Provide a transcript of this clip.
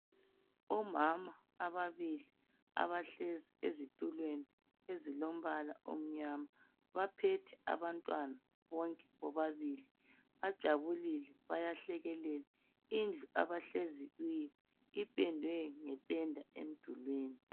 Omama ababili abahlezi ezitulweni ezilombala omnyama baphethe abantwana bonke bobabili bajabulile bayahlekelela. Indlu abahlezi kiyo ipendwe ngependa emdulwini.